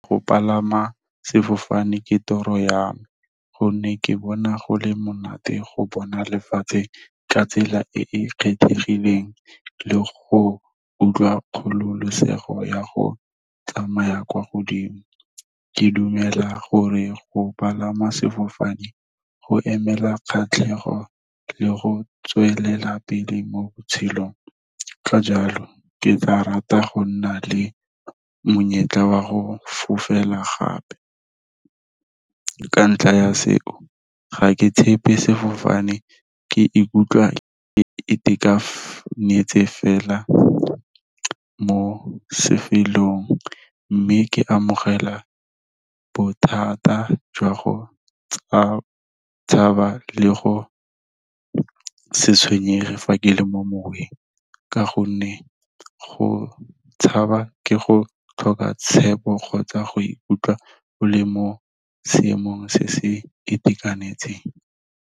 Go palama sefofane ke toro ya me gonne ke bona go le monate go bona lefatshe ka tsela e e kgethegileng, le go utlwa kgololosego ya go tsamaya kwa godimo. Ke dumela gore go palama sefofane go emela kgatlhego le go tswelela pele mo botshelong, ka jalo ke tla rata go nna le monyetla wa go fofela gape. Ka ntlha ya seo, ga ke tshepe sefofane, ke ikutlwa ke itekanetse fela mo , mme ke amogela bothata jwa go tshaba le go se tshwenyege fa ke le mo moweng. Ka gonne go tshaba ke go tlhoka tshepo, kgotsa go ikutlwa o le mo seemong se se itekanetseng.